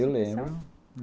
Eu lembro.